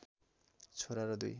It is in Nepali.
छोरा र दुई